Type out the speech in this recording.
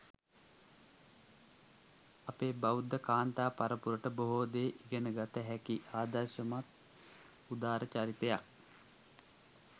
අපේ බෞද්ධ කාන්තා පරපුරට බොහෝ දේ ඉගෙනගත හැකි ආදර්ශමත් උදාර චරිතයක්.